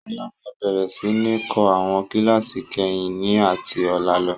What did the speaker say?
Sọlá máa bẹ̀rẹ̀ sini kọ́ àwọn kíláàsì kẹrin ni ati ọ̀la lọ.